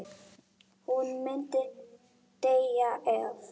Hún myndi deyja ef.